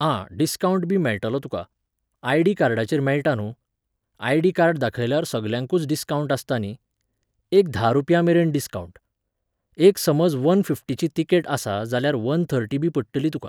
आं, डिस्कावन्टबी मेळटलो तुका. आयडी कार्डाचेर मेळटा न्हूं. आयडी कार्ड दाखयल्यार सगल्यांकूच डिस्कावन्ट आसता न्ही. एक धा रुपयांममेरेन डिस्कावन्ट. एक समज वन फिफ्टीची तिकेट आसा जाल्यार वन थर्टीबी पडटली तुका.